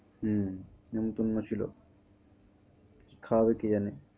হুম নেমন্তন্য ছিল, কী খাওয়াবে কে জানে?